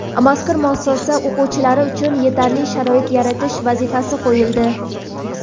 Mazkur muassasa o‘quvchilari uchun yetarli sharoit yaratish vazifasi qo‘yildi.